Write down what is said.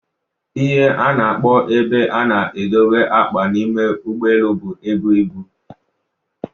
ihe a na-akpọ ebe a na-edobe akpa n'ime ụgbọelu bụ Ebu ibu